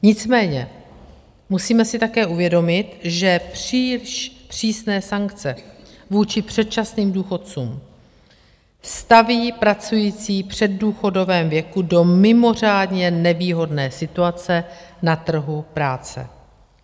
Nicméně musíme si také uvědomit, že příliš přísné sankce vůči předčasným důchodcům staví pracující v předdůchodovém věku do mimořádně nevýhodné situace na trhu práce.